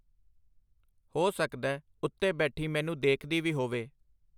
ਹੋ ਸਕਦੈ ਉੱਤੇ ਬੈਠੀ ਮੈਨੂੰ ਦੇਖਦੀ ਵੀ ਹੋਵੇ.